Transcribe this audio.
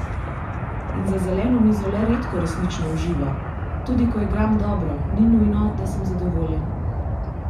In za zeleno mizo le redko resnično uživa: "Tudi ko igram dobro, ni nujno, da sem zadovoljen.